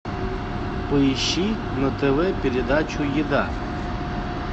поищи на тв передачу еда